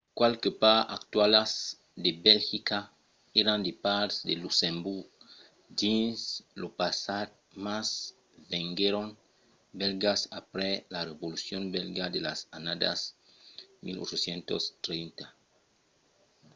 qualques parts actualas de belgica èran de parts de luxemborg dins lo passat mas venguèron bèlgas aprèp la revolucion bèlga de las annadas 1830